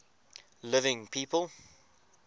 living people